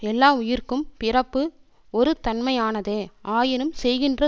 எல்லா உயிர்க்கும் பிறப்பு ஒருத் தன்மையானதே ஆயினும் செய்கின்ற